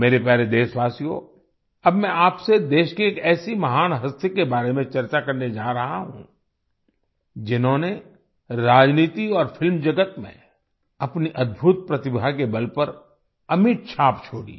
मेरे प्यारे देशवासियो अब मैं आपसे देश की एक ऐसी महान हस्ती के बारे में चर्चा करने जा रहा हूँ जिन्होंने राजनीति और फिल्म जगत में अपनी अद्भुत प्रतिभा के बल पर अमिट छाप छोड़ी